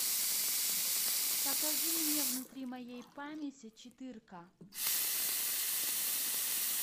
покажи мне внутри моей памяти четырка